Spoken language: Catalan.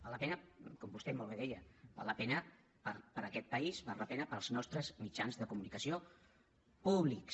val la pena com vostè molt bé deia val la pena per aquest país val la pena pels nostres mitjans de comunicació públics